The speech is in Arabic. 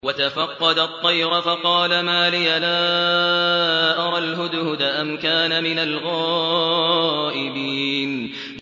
وَتَفَقَّدَ الطَّيْرَ فَقَالَ مَا لِيَ لَا أَرَى الْهُدْهُدَ أَمْ كَانَ مِنَ الْغَائِبِينَ